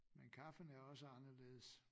Men kaffen er også anderledes